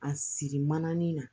A siri manin na